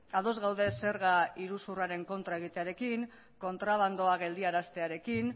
ados gaude zerga iruzurraren kontra egitearekin kontrabandoa geldiaraztearekin